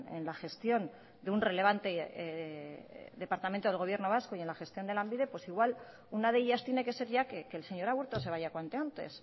en la gestión de un relevante departamento del gobierno vasco y en la gestión de lanbide pues igual una de ellas tiene que ser ya que el señor aburto se vaya cuanto antes